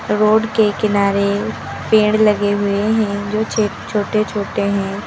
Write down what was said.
Road के किनारे पेड़ लगे हुए हैं जो छोटे छोटे हैं।